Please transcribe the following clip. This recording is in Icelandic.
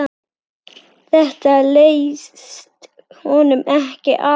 Þetta leist honum ekki á.